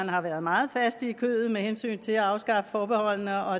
har været meget faste i kødet med hensyn til at afskaffe forbeholdene og